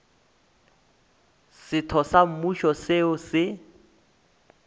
setho sa mmušo seo se